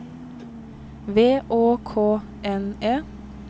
V Å K N E